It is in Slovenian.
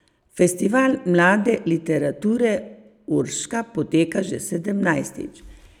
Festival mlade literature Urška poteka že sedemnajstič.